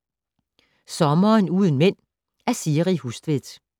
Sommeren uden mænd af Siri Hustvedt